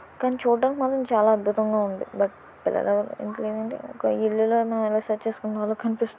కానీ చూడడం మాత్రం చాలా అద్భుతంగా ఉంది. ఒక ఇల్లు